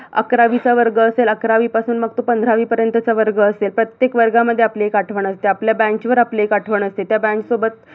अकरावीचा वर्ग असेल अकरावीपासून मग तो पंधरावी पर्यंतचा वर्ग असेल प्रत्येक वर्गामध्ये आपली एक आठवण असते, आपल्या bench वर आपली एक आठवण असते त्या bench सोबत